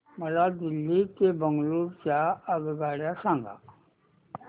मला दिल्ली ते बंगळूरू च्या आगगाडया सांगा